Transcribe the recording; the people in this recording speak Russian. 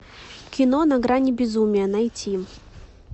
кино на грани безумия найти